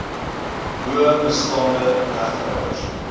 bo bestaande regtehouers